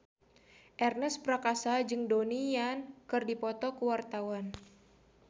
Ernest Prakasa jeung Donnie Yan keur dipoto ku wartawan